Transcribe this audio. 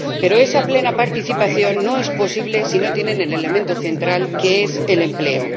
Pero esa plena participación no es posible si no tienen el elemento central, que es el empleo.